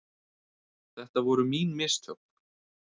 Þetta voru mín mistök.